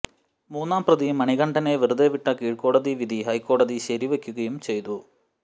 മൂന്നാം പ്രതി മണികണ്ഠനെ വെറുതെവിട്ട കീഴ്ക്കോടതി വിധി ഹൈക്കോടതി ശരിവെക്കുകയും ചെയ്തു